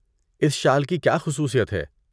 اس شال کی کیا خصوصیت ہے؟